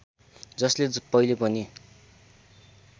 जसले पहिले पनि